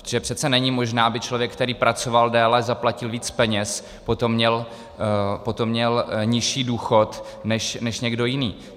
Protože přece není možné, aby člověk, který pracoval déle, zaplatil víc peněz, potom měl nižší důchod než někdo jiný.